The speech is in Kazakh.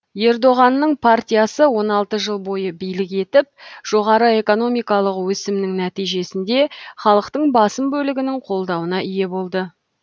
ердоғанның партиясы он алты жыл бойы билік етіп жоғары экономикалық өсімнің нәтижесінде халықтың басым бөлігінің қолдауына ие болды